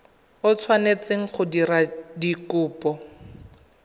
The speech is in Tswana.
o tshwanetseng go dira kopo